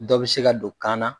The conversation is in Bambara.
Dɔ bɛ se ka don kan na.